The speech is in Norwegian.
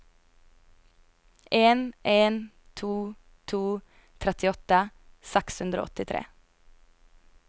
en en to to trettiåtte seks hundre og åttitre